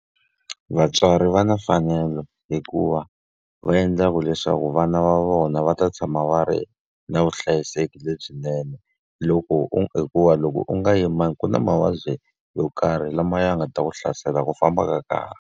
Vatswari va na mfanelo hikuva va endla ku leswaku vana va vona va ta tshama va ri na vuhlayiseki lebyinene. Loko u hikuva loko u nga yimbangi ku na mavabyi yo karhi lama ya nga ta ku hlasela hi ku famba ka karhi.